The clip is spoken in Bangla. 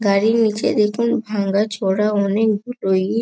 গাড়ির নিচে দেখুন ভাঙ্গাচোরা অনেকগুলো ইট ।